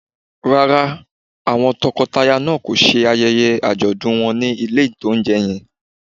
Rárá, àwọn tọkọtaya náà kò ṣe ayẹyẹ àjọ̀dún wọn ní ilé-ìtánjẹ yẹn